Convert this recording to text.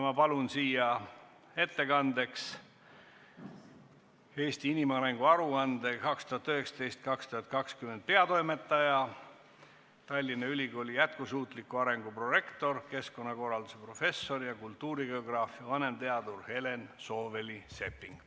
Ma palun siia ettekandeks "Eesti inimarengu aruande 2019/2020" peatoimetaja, Tallinna Ülikooli jätkusuutliku arengu prorektori, keskkonnakorralduse professori ja kultuurigeograafia vanemteaduri Helen Sooväli-Seppingu.